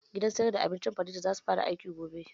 Gidan siyar da abincin farida zasu fara aiki gobe